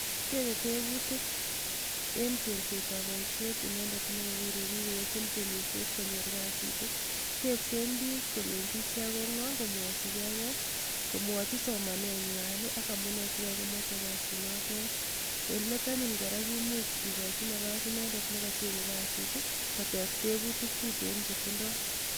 Tebe tebutik eng chengsetab boisiet inendet ne kakokure bik koyachin tiemisiet konyor kasit. Tepsen bik kolenjin ichek ko ngo komwochige gei komwochi somane ngwa ak amune sikomoche kasi notet. Eng let anyun kora kimuch kikoch nafas inendet ne kochengei kasit koteb tebutik tuten che tindoi.